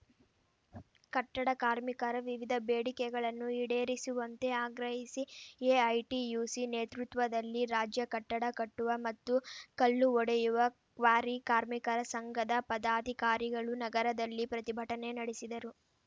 ಕಟ್ಟಡ ಕಾರ್ಮಿಕರ ವಿವಿಧ ಬೇಡಿಕೆಗಳನ್ನು ಈಡೇರಿಸುವಂತೆ ಆಗ್ರಹಿಸಿ ಎಐಟಿಯುಸಿ ನೇತೃತ್ವದಲ್ಲಿ ರಾಜ್ಯ ಕಟ್ಟಡ ಕಟ್ಟುವ ಮತ್ತು ಕಲ್ಲು ಒಡೆಯುವ ಕ್ವಾರಿ ಕಾರ್ಮಿಕರ ಸಂಘದ ಪದಾಧಿಕಾರಿಗಳು ನಗರದಲ್ಲಿ ಪ್ರತಿಭಟನೆ ನಡೆಸಿದರು